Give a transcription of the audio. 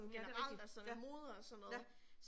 Mh det rigtigt. Ja, ja